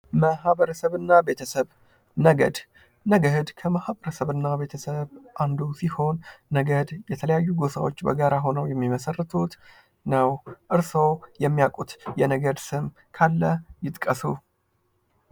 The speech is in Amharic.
ማህበረሰብ እና ቤተሰብ፦ ነገድ፦ ነገድ ለማህበረሰብ እና ቤተሰብ አንዱ ሲሆን ነገድ የተለያዩ ጎሳዎች በጋራ ሁነው የሚመሰርቱት ነው ። እርስዎ የሚያቁት የነገድ ስም ካለ ይጥቀሱ።